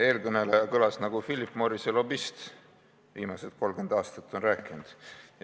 Eelkõneleja jutt oli selline, nagu Philip Morrise lobist viimased 30 aastat on rääkinud.